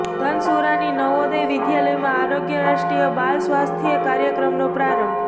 ધનસુરાની નવોદય વિદ્યાલયમાં આરોગ્ય રાષ્ટ્રીય બાલ સ્વાસ્થ્ય કાર્યક્રમનો પ્રારંભ